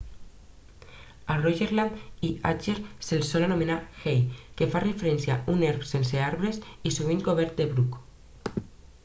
a rogaland i agder se'ls sol anomenar hei que fa referència a un erm sense arbres i sovint cobert de bruc